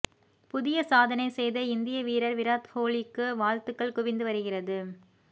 புதிய சாதனை செய்த இந்திய வீரர் விராத் கோஹ்லிக்கு வாழ்த்துக்கள் குவிந்து வருகிறது